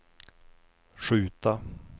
skjuta